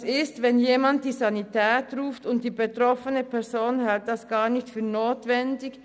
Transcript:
Was passiert, wenn jemand die Sanitätspolizei ruft und die betroffene Person hält das nicht für notwendig?